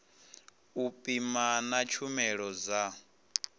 u pima na tshumelo dza